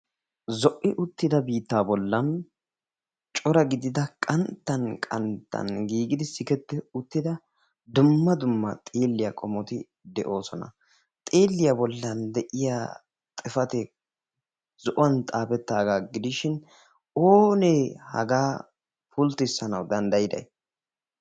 zo'i uttida bittaa bollan cora gidida qantta qanttan giigidi siketti uttida dumma dumma xiilliyaa qommoti de'oosona xiilliyaa bollan de'iyaa xifatee zo'uwaan xaafettaagaa gidishin oonee hagaa pulttisanawu danddayiday?